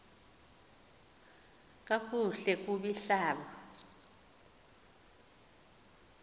kakuhle kub ihlab